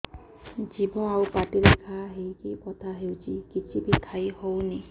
ଜିଭ ଆଉ ପାଟିରେ ଘା ହେଇକି ବଥା ହେଉଛି କିଛି ବି ଖାଇହଉନି